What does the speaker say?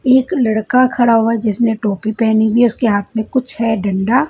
एक लड़का खड़ा हुआ है जिसनें टोपी पहनी हुई है उसके हाथों में कुछ है डंडा--